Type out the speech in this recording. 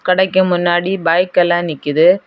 கடைக்கு முன்னாடி பைக் எல்லா நிக்குது.